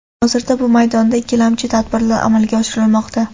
Hozirda bu maydonda ikkilamchi tadbirlar amalga oshirilmoqda.